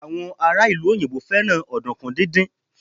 àwọn ará ìlú òyìnbó fẹràn ọdunkun didin